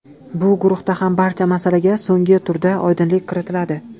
Bu guruhda ham barcha masalaga so‘nggi turda oydinlik kiritiladi.